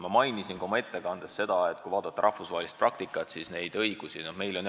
Ma mainisin ka oma ettekandes, et kui vaadata rahvusvahelist praktikat, siis neid õigusi ja erisusi riikides on.